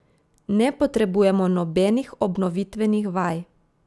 Ne potrebujemo nobenih obnovitvenih vaj.